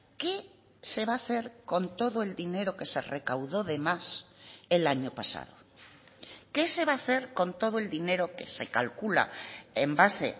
qué se va a hacer con todo el dinero que se recaudó de más el año pasado qué se va a hacer con todo el dinero que se calcula en base